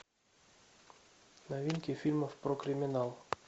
новинки фильмов про криминал